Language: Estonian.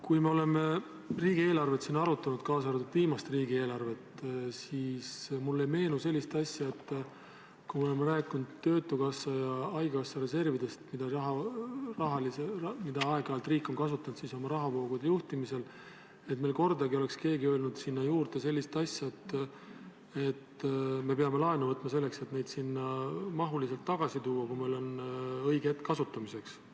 Kui me oleme siin riigieelarvet arutanud, kaasa arvatud viimast riigieelarvet, siis mulle ei meenu sellist asja, et rääkides töötukassa ja haigekassa reservidest, mida riik on aeg-ajalt oma rahavoogude juhtimisel kasutanud, oleks kordagi keegi öelnud sinna juurde sellist asja, et me peame laenu võtma selleks, et neid sinna mahuliselt tagasi tuua, kui meil on õige hetk kasutamiseks.